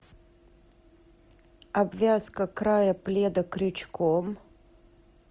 обвязка края пледа крючком